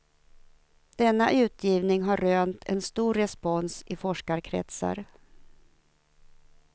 Denna utgivning har rönt en stor respons i forskarkretsar.